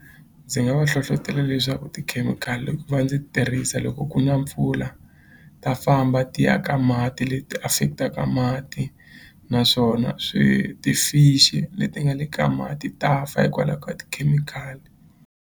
Ndzi nga va hlohlotela leswaku tikhemikhali ku va ndzi tirhisa loko ku na mpfula ta famba ti ya ka mati leti affect-aka mati naswona swi ti-fish-i leti nga le ka mati ta fa hikwalaho ka tikhemikhali.